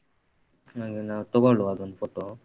ಹಾಗಾಗಿ ನಾವ್ ತಗೋಳ್ವ ಅದೊಂದ್ photo .